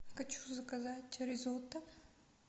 хочу заказать ризотто